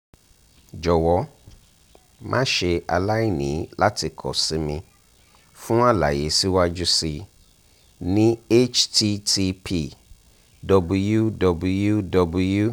jọwọ ma ṣe alaini lati kọ si mi fun alaye siwaju sii ni: http://www